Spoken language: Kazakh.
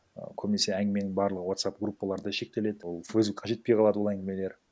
і көбінесе әңгіменің барлығы вотсап группаларда шектеледі ол фейсбукқа жетпей қалады ол әңгімелер